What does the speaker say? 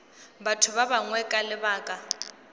batho ba bangwe ka lebaka